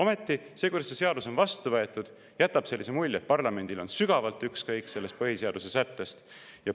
Ja see, kuidas see seadus on vastu võetud, jätab sellise mulje, et parlamendil on sügavalt ükskõik sellest põhiseaduse sättest.